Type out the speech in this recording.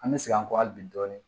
An bɛ segin an kɔ hali bi dɔɔni